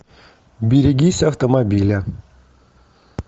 берегись автомобиля